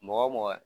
Mɔgɔ wo mɔgɔ